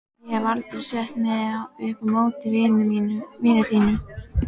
Ég hef aldrei sett mig upp á móti vinnunni þinni.